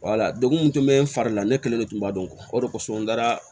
degun mun tun bɛ n fari la ne kelen de tun b'a dɔn o de kosɔn n dara